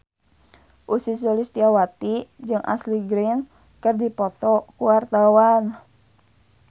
Ussy Sulistyawati jeung Ashley Greene keur dipoto ku wartawan